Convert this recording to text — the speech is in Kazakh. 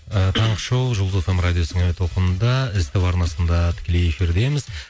ы таңғы шоу жұлдыз эф эм радиосының әуе толқынында ств арнасында тікелей эфирдеміз